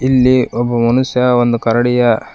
ಇಲ್ಲಿ ಒಬ್ಬ ಮನುಷ್ಯ ಒಂದು ಕರಡಿಯ--